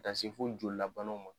Ka se fɔ joli la lbanw ma.